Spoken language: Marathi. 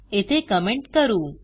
येथे कमेंट करू